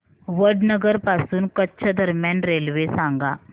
वडनगर पासून कच्छ दरम्यान रेल्वे सांगा